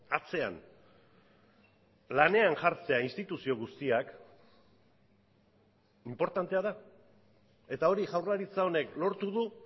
atzean lanean jartzea instituzio guztiak inportantea da eta hori jaurlaritza honek lortu du